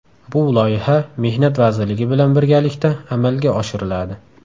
Bu loyiha Mehnat vazirligi bilan birgalikda amalga oshiriladi.